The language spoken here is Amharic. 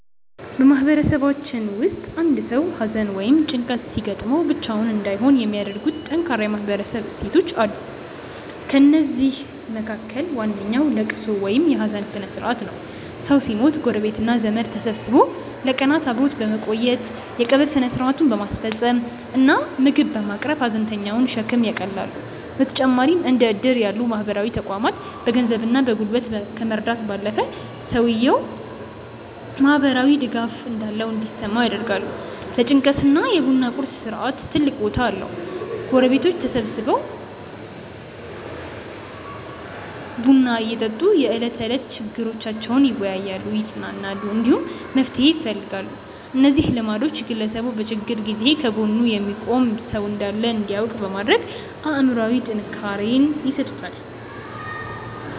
በማህበረሰባችን ውስጥ አንድ ሰው ሐዘን ወይም ጭንቀት ሲገጥመው ብቻውን እንዳይሆን የሚያደርጉ ጠንካራ የማህበረሰብ እሴቶች አሉ። ከእነዚህም መካከል ዋነኛው ልቅሶ ወይም የሐዘን ሥርዓት ነው። ሰው ሲሞት ጎረቤትና ዘመድ ተሰብስቦ ለቀናት አብሮ በመቆየት፣ የቀብር ሥነ ሥርዓቱን በማስፈጸም እና ምግብ በማቅረብ የሐዘንተኛውን ሸክም ያቃልላሉ። በተጨማሪም እንደ ዕድር ያሉ ማህበራዊ ተቋማት በገንዘብና በጉልበት ከመርዳት ባለፈ፣ ሰውየው ማህበራዊ ድጋፍ እንዳለው እንዲሰማው ያደርጋሉ። ለጭንቀት ደግሞ የ ቡና ቁርስ ሥርዓት ትልቅ ቦታ አለው፤ ጎረቤቶች ተሰብስበው ቡና እየጠጡ የዕለት ተዕለት ችግሮቻቸውን ይወያያሉ፣ ይጽናናሉ፣ እንዲሁም መፍትሄ ይፈልጋሉ። እነዚህ ልማዶች ግለሰቡ በችግር ጊዜ ከጎኑ የሚቆም ሰው እንዳለ እንዲያውቅ በማድረግ አእምሮአዊ ጥንካሬ ይሰጡታል።